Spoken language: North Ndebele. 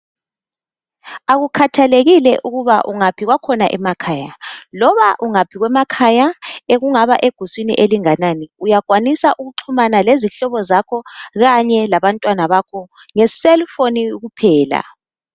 Akukhathekile ukuba ungaphi kwakhona emakhaya loba ungaphi kwemakhaya ekungaba seguswini elinganani uyakwanisa uxhumana lezihlobo zakho kanye labantwana bakho ngecellphone kuphela.